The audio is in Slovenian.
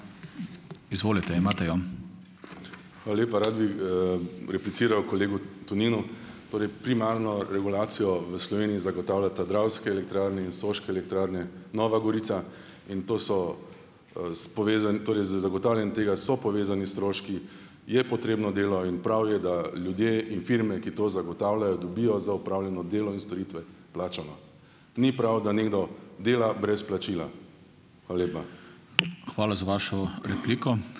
Hvala lepa. Rad bi, repliciral kolegu Toninu. Torej primarno regulacijo v Sloveniji zagotavljata Dravske elektrarne in Soške elektrarne Nova Gorica in to so, s torej z zagotavljanjem tega so povezani stroški, je potrebno delo in prav je, da ljudje in firme, ki to zagotavljajo dobijo za opravljeno delo in storitve plačano. Ni prav, da nekdo dela brez plačila. Hvala lepa.